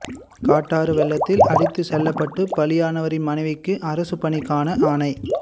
காட்டாற்று வெள்ளத்தில் அடித்துச் செல்லப்பட்டு பலியானவரின் மனைவிக்கு அரசுப் பணிக்கான ஆணை